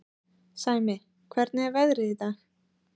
Sæmi, hvernig er veðrið í dag?